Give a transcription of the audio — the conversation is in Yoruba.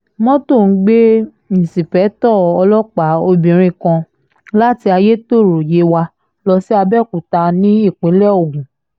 mọ́tò ń gbé inṣìpèétò ọlọ́pàá obìnrin kan láti ayétọ́rọ́ yewa lọ sí àbẹ́ọ̀kúta ní ìpínlẹ̀ ogun